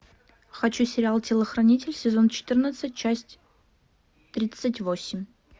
хочу сериал телохранитель сезон четырнадцать часть тридцать восемь